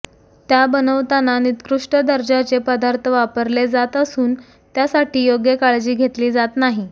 त्या बनवताना निकृष्ट दर्जाचे पदार्थ वापरले जात असून त्यासाठी योग्य काळजी घेतली जात नाही